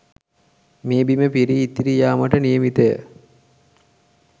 මේ බිම පිරී ඉතිරී යාමට නියමිතය.